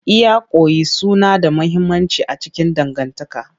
Iyakoki suna da mahimmanci a cikin dangantaka.